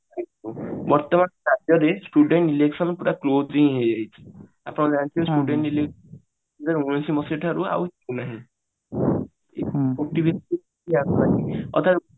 ବର୍ତମାନ ରାଜ୍ୟରେ student election ପୁରା close ହିଁ ହେଇଯାଇଛି ଆପଣ ଜାଣିଥିବେ student ଦୁହାଜର ଉଣେଇଶି ମସିହା ଠାରୁ ଆଉ ନାହିଁ